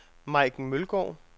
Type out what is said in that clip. Maiken Mølgaard